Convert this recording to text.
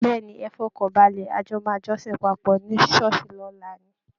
Bẹ́ẹ̀ ni, ẹ fọkan balẹ̀, ajò máa jọ́sìn papọ̀ ní ṣọ́ọ̀ṣì lọ́la ni